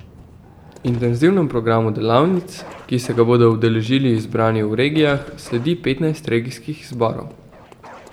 Intenzivnemu programu delavnic, ki se ga bodo udeležili izbrani v regijah, sledi petnajst regijskih izborov.